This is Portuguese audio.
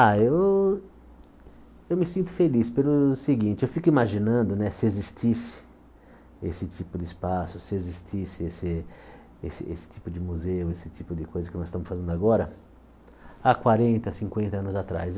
Ah, eu eu me sinto feliz pelo seguinte, eu fico imaginando né se existisse esse tipo de espaço, se existisse esse esse esse tipo de museu, esse tipo de coisa que nós estamos fazendo agora há quarenta, cinquenta anos atrás.